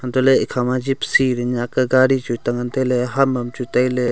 hantoh le ekhama Jeepcy le Nyak ka gari tan ngan taile antoh le ham am chu taile.